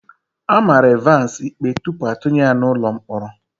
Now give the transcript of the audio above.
A mara Evans ikpe tupu atụnye ya n'ụlọ mkpọrọ.